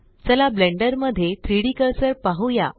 चला ब्लेण्डर मध्ये 3डी कर्सर पाहुया